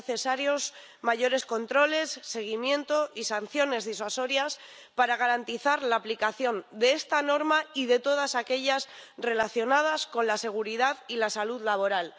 Son necesarios mayores controles, seguimiento y sanciones disuasorias para garantizar la aplicación de esta norma y de todas aquellas relacionadas con la seguridad y la salud laboral.